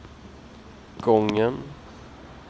gången